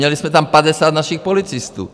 Měli jsme tam 50 našich policistů.